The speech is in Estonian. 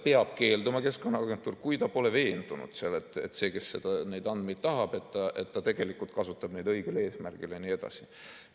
Keskkonnaagentuur peab keelduma, kui ta pole veendunud, et see, kes neid andmeid tahab, tegelikult kasutab neid õigel eesmärgil jne.